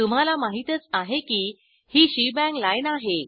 तुम्हाला माहितच आहे की ही शेबांग लाईन आहे